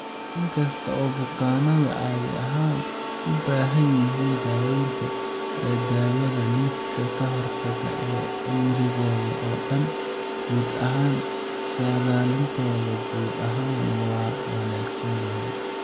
In kasta oo bukaannadu caadi ahaan u baahan yihiin daawaynta dawada lidka-ka-hortagga ah ee cimrigooda oo dhan, guud ahaan saadaalintooda guud ahaan waa wanaagsan tahay.